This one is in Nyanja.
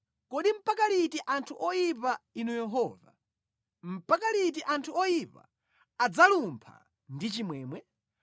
Kodi mpaka liti anthu oyipa Inu Yehova, mpaka liti anthu oyipa adzalumpha ndi chimwemwe?